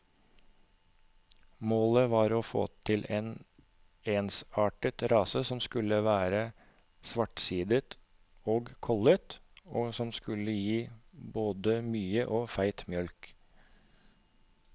Målet var å få til en ensartet rase som skulle være svartsidet og kollet, og som skulle gi både mye og feit mjølk.